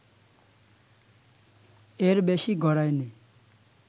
এর বেশি গড়ায়নি